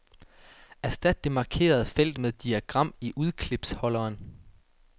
Erstat det markerede felt med diagram i udklipsholderen.